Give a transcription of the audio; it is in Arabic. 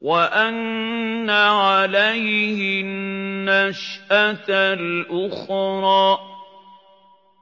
وَأَنَّ عَلَيْهِ النَّشْأَةَ الْأُخْرَىٰ